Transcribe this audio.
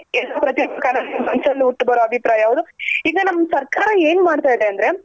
ಮನಸಲ್ಲೂ ಹುಟ್ಟು ಬಾರೋ ಅಭಿಪ್ರಾಯ ಹೌದು ಈಗ ನಮ್ ಸರ್ಕಾರ ಏನ್ ಮಾಡ್ತಾ ಇದೆ ಅಂದ್ರೆ